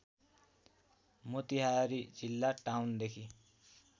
मोतिहारी जिल्ला टाउनदेखि